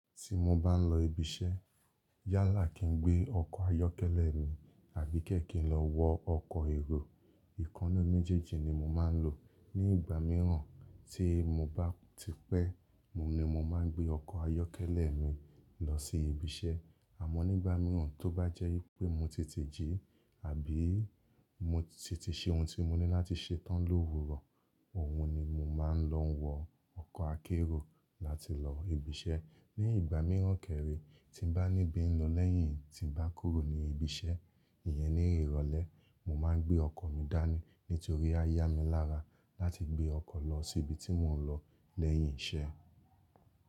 Ti mo bá ń lọ ibi iṣẹ́ yálà kin gbé ọkọ̀ ayọ́kẹ́lẹ́ mi àbí kẹ́ẹ̀kẹ́ lọ wo ọkọ̀ èrò. Ìkan ninú méjèèjì ni mo máa ń lò. Ní ìgbà míràn tí mo bá ti pẹ́, oun ni mo máa ń gbé ọkọ̀ ayọ́kẹ́lẹ́ mi lọ sí ibi iṣẹ́ àmọ́ nígbà míràn tó bá jẹ́ wipé mo tete jí àbí mo tete ṣe ohun tí mo ní láti ṣe tán lówurọ̀, òhun ni mo máa ń lọ wo ọkọ̀ akérò láti lọ ibi iṣẹ́. Ní ìgbà míràn kẹ́ rẹ́ tí n bá ní bí n lọ lẹ́yìn tí n bá kúrò ní ibi iṣẹ́, ìyẹn ni ìrọ̀lẹ́ mo máa ń gbé ọkọ̀ mi dání nítorí á yá mi lára láti gbé ọkọ̀ lọ sí ibi tí mò ń lọ lẹ́yìn iṣẹ́.